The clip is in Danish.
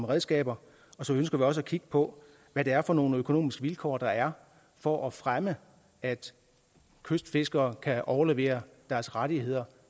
redskaber så ønsker vi også at kigge på hvad det er for nogle økonomiske vilkår der er for at fremme at kystfiskere kan overlevere deres rettigheder